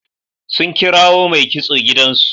Sun kirawo mai kitso gidansu.